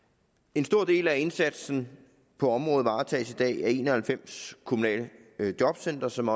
en stor del af indsatsen på området varetages i dag af en og halvfems kommunale jobcentre som